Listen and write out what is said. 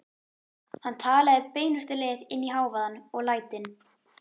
Hann talaði beinustu leið inn í hávaðann og lætin.